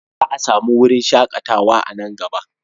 Za a sami wurin shakatawa a nan gaba.